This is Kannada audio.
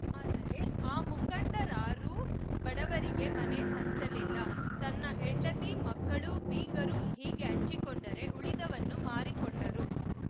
ಆದರೆ ಆ ಮುಖಂಡರಾರೂ ಬಡವರಿಗೆ ಮನೆ ಹಂಚಲಿಲ್ಲ ತನ್ನ ಹೆಂಡತಿ ಮಕ್ಕಳು ಬೀಗರು ಹೀಗೆ ಹಂಚಿಕೊಂಡರೆ ಉಳಿದವನ್ನು ಮಾರಿಕೊಂಡರು